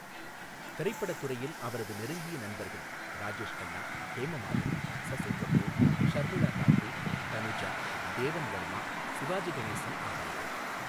திரைப்படத் துறையில் அவரது நெருங்கிய நண்பர்கள் ராஜேஷ் கண்ணா, ஹேமமாலினி, சசி கபூர், ஷர்மிளா தாகூர், தனுஜா, தேவன் வர்மா, சிவாஜி கணேசன் ஆவார்கள்